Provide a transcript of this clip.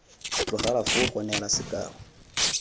tlogelwa foo go neela sekao